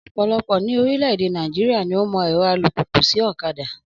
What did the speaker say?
Ọ̀pọ̀lọpọ̀ ní orílẹ̀ èdè Nàìjíríà ni ó mọ ẹ̀rọ alùpùpù sì ọ̀kadà